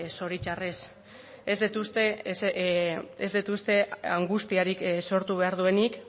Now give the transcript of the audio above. zoritxarrez ez dut uste angustiarik sortu behar duenik